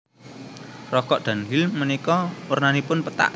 Rokok Dunhill menika wernanipun pethak